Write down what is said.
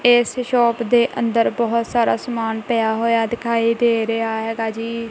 ਇਸ ਸ਼ੌਪ ਦੇ ਅੰਦਰ ਬਹੁਤ ਸਾਰਾ ਸਮਾਨ ਪਿਆ ਹੋਇਆ ਦਿਖਾਈ ਦੇ ਰਿਹਾ ਹੈਗਾ ਜੀ।